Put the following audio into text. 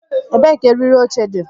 Ebee ka eriri oche dị?